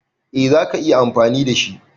Eh za ka iya amfani da shi.